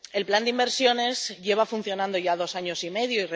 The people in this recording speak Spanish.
El plan de inversiones lleva funcionando ya dos años y medio.